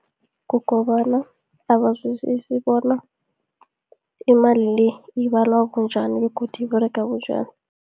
Kukobana abazwisisi bona, imali le, ibalwa bunjani, begodu iberega bunjani.